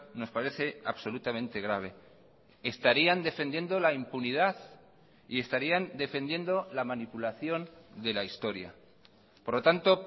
nos parece absolutamente grave estarían defendiendo la impunidad y estarían defendiendo la manipulación de la historia por lo tanto